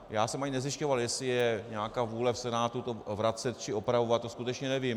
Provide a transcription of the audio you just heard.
Já jsem ani nezjišťoval, jestli je nějaká vůle v Senátu to vracet či opravovat, to skutečně nevím.